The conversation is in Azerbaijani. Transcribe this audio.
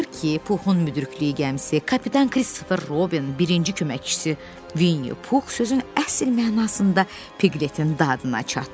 Axır ki, Puxun müdrikliyi gəmisi, kapitan Kristofer Robin, birinci köməkçisi Vinni Pux sözün əsl mənasında Piglet-in dadına çatdı.